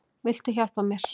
Viltu hjálpa mér?